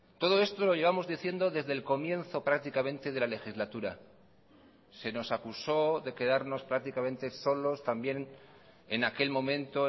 todo esto lo llevamos diciendo desde el comienzo prácticamente de la legislatura se nos acusó de quedarnos prácticamente solos también en aquel momento